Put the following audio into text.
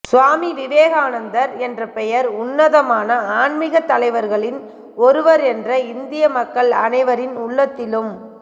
சுவாமி விவேகானந்தர் என்ற பெயர் உன்னதமான ஆன்மிகத் தலைவர்களில் ஒருவர் என்று இந்திய மக்கள் அனைவரின் உள்ளத்திலும்